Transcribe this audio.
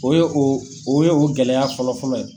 O ye o ,o ye o gɛlɛya fɔlɔ fɔlɔ ye.